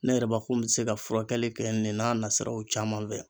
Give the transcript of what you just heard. Ne yɛrɛ bakun be se ka furakɛli kɛ nin n'a nasiraw caman fɛ